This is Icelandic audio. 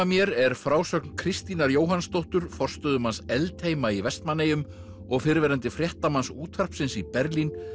mér er frásögn Kristínar Jóhannsdóttur forstöðumanns í Vestmannaeyjum og fyrrverandi fréttamanns útvarpsins í Berlín